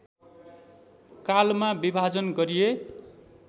कालमा विभाजन गरिए